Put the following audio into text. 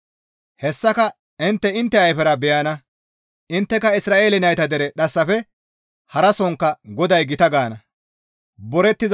Hessaka intte intte ayfera beyana; intteka, ‹Isra7eele nayta dere dhassafe harasonkka GODAY gita gaana.